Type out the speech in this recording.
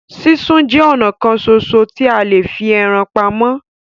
Súnsun jẹ ọnà kan ṣoṣo tí a lè fi ẹran pamọ́.